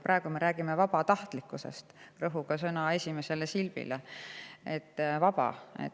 Praegu me räägime vabatahtlikkusest, rõhuga sõna esimesel poolel: "vaba".